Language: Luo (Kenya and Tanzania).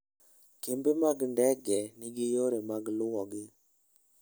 Kembe mag ndege nigi yore mag luwogi.